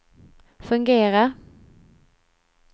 fungerar